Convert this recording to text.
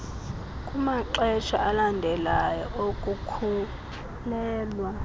kumaxesha alandelayo okukhulelwa